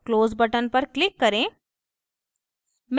close button पर click करें